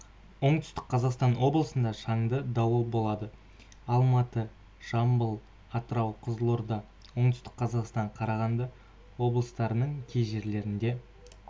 оңтүстік қазақстан облысында шанды дауыл болады алматы жамбыл атырау қызылорда оңтүстік қазақстан қарағанды облыстарының кей жерлерінде